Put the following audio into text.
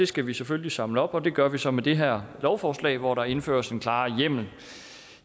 skal vi selvfølgelig samle op og det gør vi så med det her lovforslag hvor der indføres en klarere hjemmel